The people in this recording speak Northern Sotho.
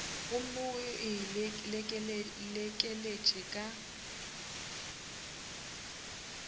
gomme o e lekeletše ka